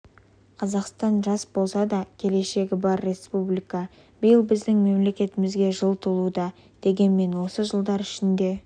қазақстан жас болса да келешегі бар республика биыл біздің мемлекетімізге жыл толуда дегенмен осы жылдар ішінде